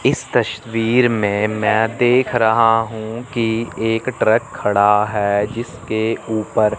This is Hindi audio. इस तस्वीर में मैं देख रहा हूं कि एक ट्रक खड़ा है जिसके ऊपर--